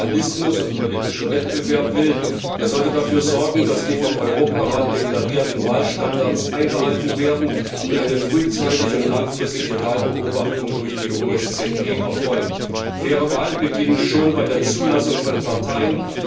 Wer Pluralismus und politischen Wettbewerb will, der sollte dafür sorgen, dass die vom Europarat deklarierten Wahlstandards eingehalten werden und dass eine frühzeitige und langfristige Wahlbeobachtung durch die OSZE erfolgt. Faire Wahlen beginnen schon bei der Zulassung von Parteien.